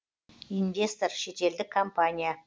инвестор шетелдік компания